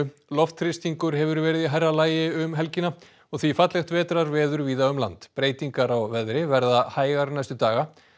loftþrýstingur hefur verið í hærra lagi um helgina og því fallegt vetrarveður víða um land breytingar á veðri verða hægar næstu daga